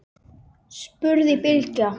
spurði Bylgja.